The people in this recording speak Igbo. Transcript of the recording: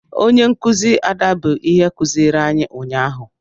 Onye nkụzi Ada bụ ihe kụziiri anyị ụnyaahụ